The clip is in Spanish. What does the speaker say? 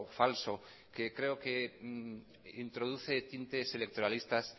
falso que creo que introduce tintes electoralistas